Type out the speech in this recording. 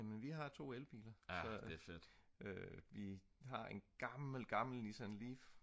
jamen vi har 2 elbiler så vi har en gammel gammel Nissan Leaf